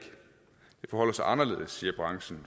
forholder sig anderledes siger branchen